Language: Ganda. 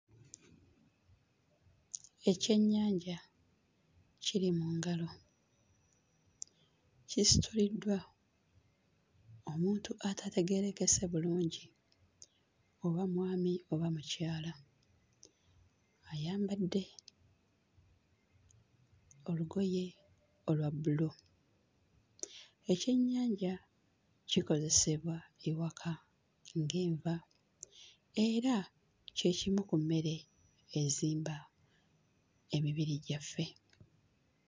Ekyennyanja kiri mu ngalo kisituliddwa omuntu atategeerekese bulungi oba mwami oba mukyala ayambadde olugoye olwa bbulu. Ekyennyanja kikozesebwa ewaka ng'enva era kye kimu ku mmere ezimba emibiri gyaffe.